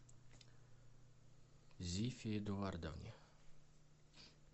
зифе эдуардовне